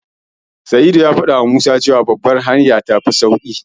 Sa'idu ya faɗawa Musa cewa Babbar hanya tafi sauƙin bi.